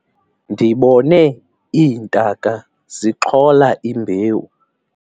ndibone iintaka zixhola imbewu